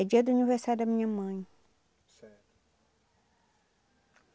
É dia do aniversário da minha mãe. Certo.